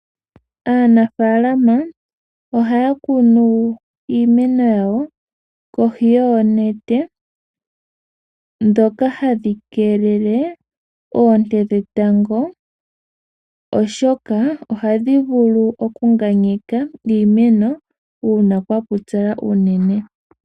Aanafaalama ohaya kunu iimeno yawo kohi yoonete ndhoka hadhi keelele oonte dhetango, oshoka ohadhi vulu okunganyeka iimeno uuna kwa pupyala.